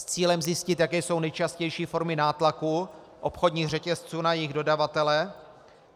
S cílem zjistit, jaké jsou nejčastější formy nátlaku obchodních řetězců na jejich dodavatele.